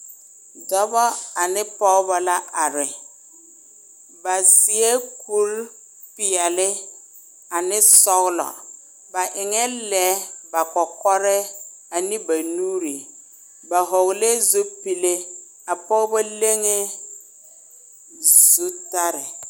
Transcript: Dɔba ane pɔgeba la a are ba seɛ kuri peɛle ane sɔgelɔ ba eŋ lɛɛ ba kɔkɔrɛɛ ane ba nuure ba hɔgelɛɛ zupile a pɔgeba leŋee zutare